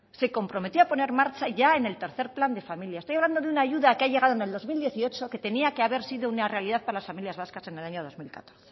se comprometió a poner en marcha ya en el tercero plan de familia estoy hablando de una ayuda que ha llegado en el año dos mil dieciocho que tenía que haber sido una realidad para las familias vascas en el año dos mil catorce